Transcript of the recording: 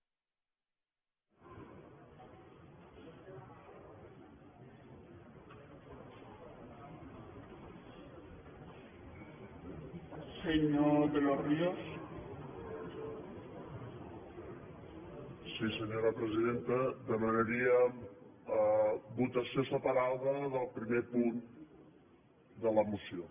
sí senyora presidenta demanaríem votació separada del primer punt de la moció